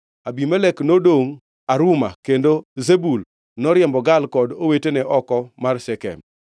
Abimelek nodongʼ Aruma, kendo Zebul noriembo Gaal kod owetene oko mar Shekem.